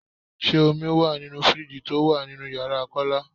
Ṣé omi wá nínú fíríìjiì tó wà nínú ìyára Kọ́lá?